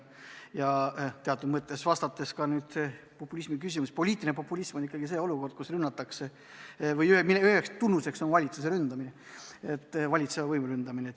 Ja teatud mõttes, kui vastata populismi puudutavale küsimusele, võib öelda, et poliitiline populism tähendab ikkagi olukorda, kus rünnatakse või kus üheks tunnuseks on valitsuse ründamine, valitseva võimu ründamine.